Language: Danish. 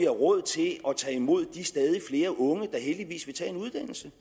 råd til at tage imod de stadig flere unge der heldigvis vil tage en uddannelse